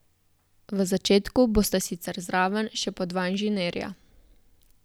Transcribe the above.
V začetku bosta sicer zraven še po dva inženirja.